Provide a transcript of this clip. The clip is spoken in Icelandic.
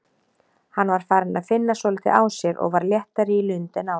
Hann var farinn að finna svolítið á sér og var léttari í lund en áður.